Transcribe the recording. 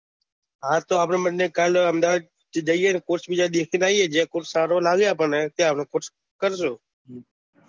હા તો આપડે બંને કાલ અહેમદાબાદ જઈ એ ન course જોતા આવીએ જ્યાં course સારો હોય ત્યાં કરીશું